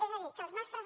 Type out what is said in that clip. és a dir que els nostres